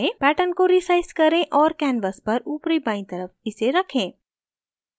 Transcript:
pattern को resize करें और canvas पर ऊपरी बायीं तरफ इसे रखें